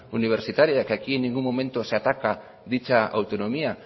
universitaria que aquí en ningún momento se ataca dicha autonomía